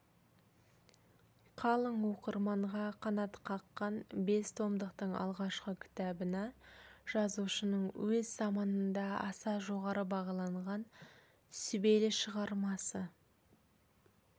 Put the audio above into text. қалың оқырманға қанат қаққан бес томдықтың алғашқы кітабына жазушының өз заманында аса жоғары бағаланған сүбелі шығармасы